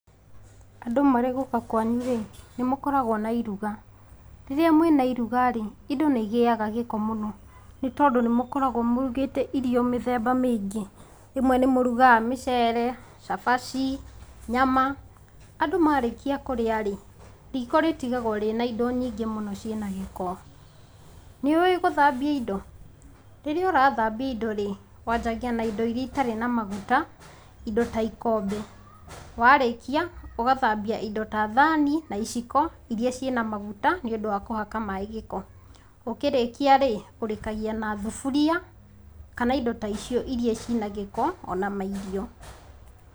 Andũ marĩ gũka kwanyu-rĩ, nĩmũkoragwo na iruga. Rĩrĩa mwĩna iruga-rĩ, indo nĩigĩaga gĩko mũno. Nĩtondo nĩmũkoragwo mũrugĩte irio mĩthemba mĩingĩ. Rĩmwe nĩmũrugaga; mĩcere, cabaci, nyama. Andũ marĩkia kũrĩa-rĩ, rĩko rĩtĩgagwo rĩna indo nyingĩ mũno ciĩ na gĩko. Nĩũĩ gũthambia indo? Rĩrĩa ũrathambia indo rĩ, wanjagia na indo iria itarĩ na maguta, indo ta ikombe. Warĩkia, ũgathambia indo ta thani, na iciko, iria ciĩ na maguta nĩũndũ wa kũhaka maĩ gĩko. Ũkĩrĩa-rĩ, ũrĩkagia na thuburia, kana indo ta icio iria ci na giko, ona mairio